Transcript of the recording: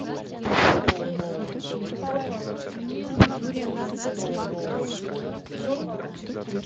вторая серия сезона тринадцать ван пис